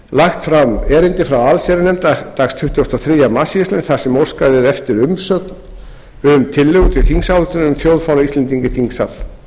lagt fram erindi frá allsherjarnefnd dagsett tuttugasta og þriðja mars síðastliðinn þar sem óskað er eftir umsögn um tillögu til þingsályktunar um þjóðfána íslendinga í þingsal